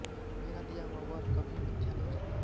मेरा दिया हुआ वर कभी मिथ्या नहीं जाता